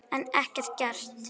En ekkert gert.